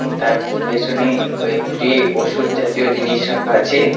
তার পেছনে কয়েকটি ওষুধ জাতীয় জিনিস রাখা আছে .